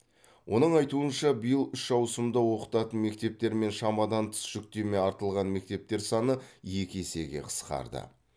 оның айтуынша биыл үш ауысымда оқытатын мектептер мен шамадан тыс жүктеме артылған мектептер саны екі есеге қысқарды